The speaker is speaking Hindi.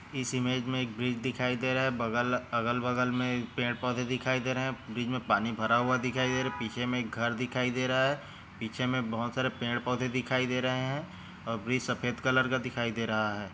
इस इमेज मे एक ब्रिज दिखाई दे रहा है अगल बगल मे पेड़ पौधे दिखाई दे रहे है ब्रिज मे पानी भरा हुआ दिखाई दे रहा है पीछे में एक घर दिखाई दे रहा है पीछे मे बहुत सारे पेड़ पौधे दिखाई दे रहे है और ब्रिज सफेद कलर का दिखाई दे रहा है।